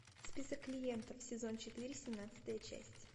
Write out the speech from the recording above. список клиентов сезон четыре семнадцатая часть